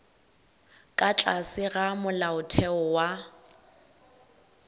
ka tlase ga molaotheo wa